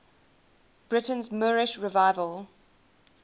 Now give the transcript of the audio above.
britain's moorish revival